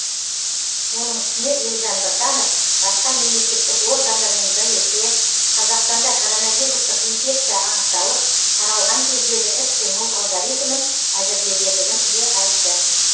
оның үстіне елжан біртанов басқа мемлекеттік органдармен бірлесе қазақстанда коронавирустық инфекция анықталып таралған кездегі іс қимыл алгоритмін әзірлегендігін де айтты